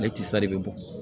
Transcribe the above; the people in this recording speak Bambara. Ale tisa de bɛ bɔn